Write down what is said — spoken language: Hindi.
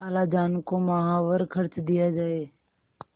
खालाजान को माहवार खर्च दिया जाय